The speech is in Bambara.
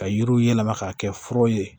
Ka yiriw yɛlɛma k'a kɛ furaw ye